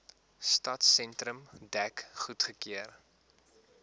stadsentrum dek goedgekeur